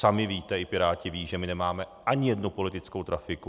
Sami víte, i Piráti vědí, že my nemáme ani jednu politickou trafiku.